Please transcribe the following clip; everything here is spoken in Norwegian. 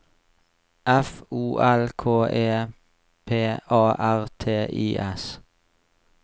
F O L K E P A R T I S